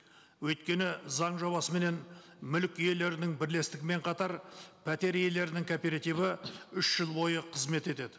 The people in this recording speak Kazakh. өйткені заң жобасыменен мүлік иелерінің бірлестігімен қатар пәтер иелерінің кооперативі үш жыл бойы қызмет етеді